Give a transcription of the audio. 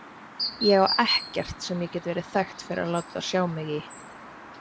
Ég á ekkert sem ég get verið þekkt fyrir að láta sjá mig í.